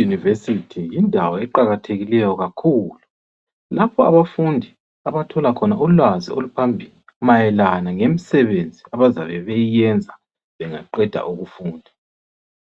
Iuniversity yindawo eqakathekileyo kakhulu. Lapha abafundi abathola khona ulwazi oluphambili, mayelana ngemsebenzi abazabe beyiyenza bengaqeda ukufunda.